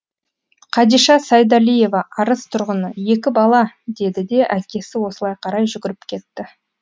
қадиша сайдалиева арыс тұрғыны екі бала деді де әкесі осылай қарай жүгіріп кетті